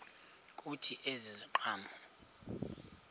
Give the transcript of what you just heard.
kuthi ezi ziqhamo